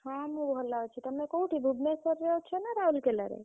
ହଁ ମୁଁ ଭଲ ଅଛି। ତମେ କଉଠି ଭୁବନେଶ୍ବର ରେ ଅଛ ନା ରାଉରକେଲା ରେ?